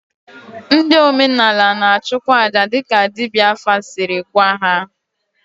Ndị omenala na-achụkwa aja dịka dibịa afa siri gwa ha.